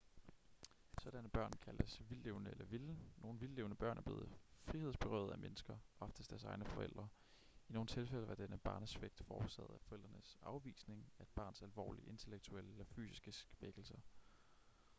sådanne børn kaldes vildtlevende eller vilde. nogle vildtlevende børn er blevet frihedsberøvet af mennesker oftest deres egne forældre; i nogle tilfælde var denne barnesvigt forårsaget af forældrenes afvisning af et barns alvorlige intellektuelle eller fysiske svækkelser